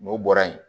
N'o bɔra yen